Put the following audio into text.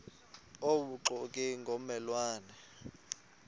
obubuxoki ngomme lwane